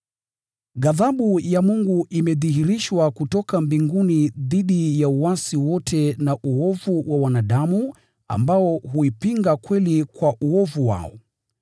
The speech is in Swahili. Ghadhabu ya Mungu imedhihirishwa kutoka mbinguni dhidi ya uasi wote na uovu wa wanadamu ambao huipinga kweli kwa uovu wao,